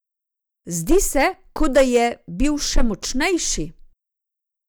Zdi se, kot da je bil še močnejši!